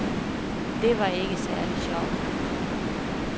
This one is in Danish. Det var ikke særlig sjovt.